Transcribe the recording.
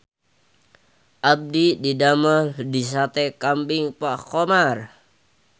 Abdi didamel di Sate Kambing Pak Khomar